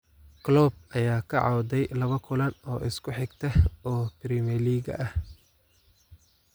Klopp ayaa ka cawday laba kulan oo isku xigta oo Premier League ah